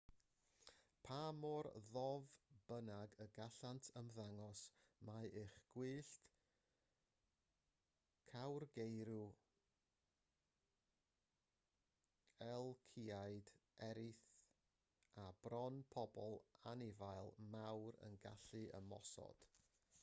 pa mor ddof bynnag y gallant ymddangos mae ych gwyllt cawrgeirw elciaid eirth a bron pob anifail mawr yn gallu ymosod